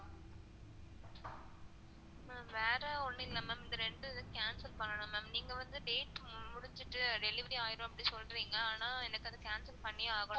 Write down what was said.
ma'am வேற ஒன்னும் இல்ல ma'am இந்த ரெண்டு இத cancel பண்ணணும் ma'am. நீங்க வந்து date முடிஞ்சிட்டு delivery ஆயிரும் அப்டி சொல்றீங்க ஆனா எனக்கு cancel பண்ணியே ஆகணும் ma'am